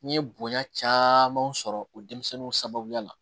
N ye bonya camanw sɔrɔ o denmisɛnninw sababuya la